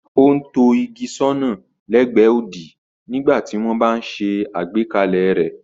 Ó ń tọ́ igi sọ́nà lẹ́gbẹ̀ẹ́ odi nígbà tí wọ́n bá ń ṣe àgbékalẹ̀ rẹ̀.